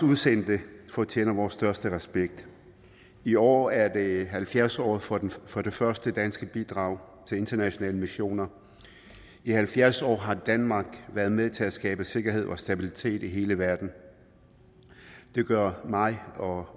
udsendte fortjener vores største respekt i år er det halvfjerds året for for det første danske bidrag til internationale missioner i halvfjerds år har danmark været med til at skabe sikkerhed og stabilitet i hele verden det gør mig og